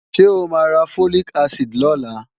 Ṣé o máa ra Folic acid lọ́la?